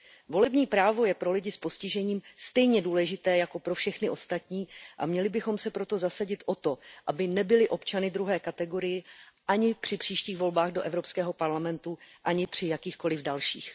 Volební právo je pro lidi s postižením stejně důležité jako pro všechny ostatní a měli bychom se proto zasadit o to, aby nebyli občany druhé kategorie ani při příštích volbách do Evropského parlamentu, ani při jakýchkoliv dalších.